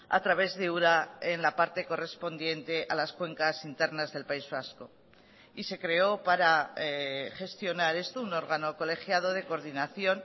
a través de ura en la parte correspondiente a las cuencas internas del país vasco y se creó para gestionar esto un órgano colegiado de coordinación